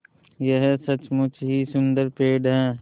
यह सचमुच ही सुन्दर पेड़ है